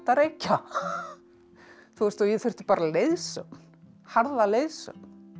reykja þú veist og ég þurfti bara leiðsögn harða leiðsögn